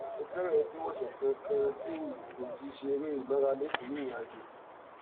ó ti fẹrẹẹ tó ọsẹ kan kan tí n kò ti ṣe eré ìmárale nítorí ìrìnàjò